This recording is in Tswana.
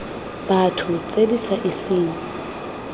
batho tse di sa iseng